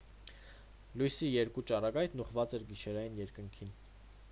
լույսի երկու ճառագայթն ուղղված էր գիշերային երկնքին